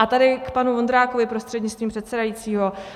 A tady k panu Vondrákovi prostřednictvím předsedajícího.